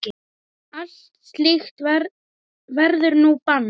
Allt slíkt verður nú bannað.